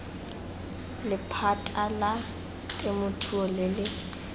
lephata la temothuo le le